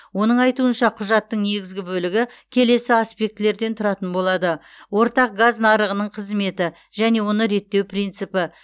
оның айтуынша құжаттың негізгі бөлігі келесі аспектілерден тұратын болады ортақ газ нарығының қызметі және оны реттеу принципі